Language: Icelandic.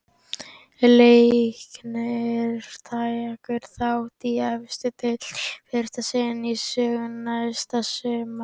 Leiknir tekur þátt í efstu deild í fyrsta sinn í sögunni næsta sumar.